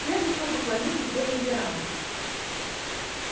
прежде всего поклонись и сделай реверанс